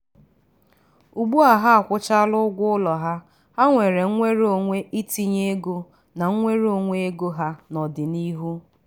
ugbu a ha akwụchala ụgwọ ụlọ ha ha nwere nnwere onwe itinye ego na nnwere onwe ego ha n'ọdịnihu.